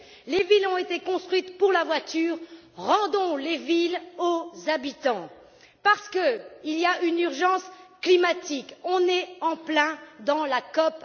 Les villes ont été construites pour la voiture rendons les villes aux habitants, parce qu'il y a une urgence climatique on est en plein dans la COP